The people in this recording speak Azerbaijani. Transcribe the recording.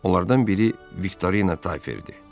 Onlardan biri Viktorina Tayferdir.